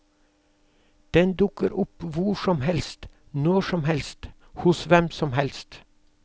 Den dukker opp hvor som helst, når som helst, hos hvem som helst.